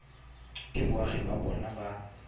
ke boagi ba bona ba